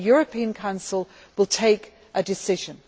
Then, the European Council will take a decision.